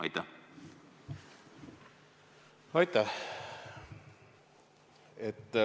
Aitäh!